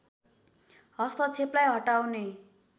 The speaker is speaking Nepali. हस्तक्षेपलाई हटाउने